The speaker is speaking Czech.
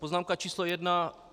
Poznámka číslo jedna.